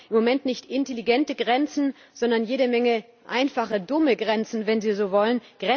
Wir brauchen im Moment nicht intelligente Grenzen, sondern jede Menge einfache, dumme Grenzen, wenn Sie so wollen.